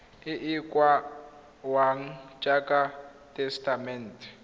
e e kaiwang jaaka tesetamente